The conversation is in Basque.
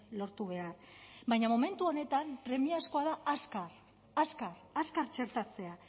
lortu behar baina momentu honetan premiazkoa da azkar azkar azkar txertatzea